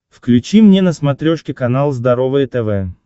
включи мне на смотрешке канал здоровое тв